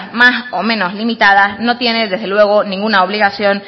más o menos limitadas no tiene desde luego ninguna obligación